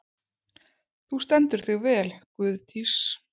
Þú stendur þig vel, Guðdís!